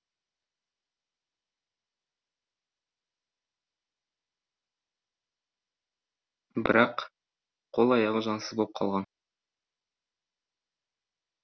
бірақ қол аяғы жансыз боп қалған